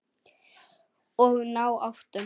Og ná áttum.